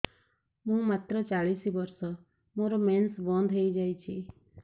ମୁଁ ମାତ୍ର ଚାଳିଶ ବର୍ଷ ମୋର ମେନ୍ସ ବନ୍ଦ ହେଇଯାଇଛି